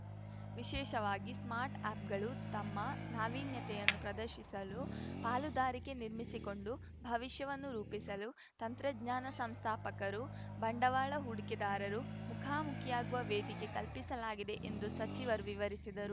ವಿಶೇಷವಾಗಿ ಸ್ಟಾರ್ಟ್‌ ಅಪ್‌ಗಳು ತಮ್ಮ ನಾವೀನ್ಯತೆಯನ್ನು ಪ್ರದರ್ಶಿಸಲು ಪಾಲುದಾರಿಕೆ ನಿರ್ಮಿಸಿಕೊಂಡು ಭವಿಷ್ಯವನ್ನು ರೂಪಿಸಲು ತಂತ್ರಜ್ಞಾನ ಸಂಸ್ಥಾಪಕರು ಬಂಡವಾಳ ಹೂಡಿಕೆದಾರರು ಮುಖಾಮುಖಿಯಾಗುವ ವೇದಿಕೆ ಕಲ್ಪಿಸಲಾಗಿದೆ ಎಂದು ಸಚಿವರು ವಿವರಿಸಿದರು